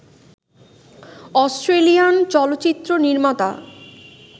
Australian চলচ্চিত্র নির্মাতা